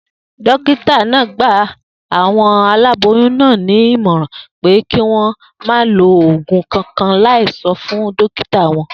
Dókítà náà gba àwo̩n aláboyún náà ní ìmò̩ràn pé kí wó̩n má lo ògùn kankan láì so̩ fún dókítà wo̩n